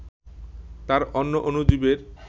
তা অন্য অণুজীবের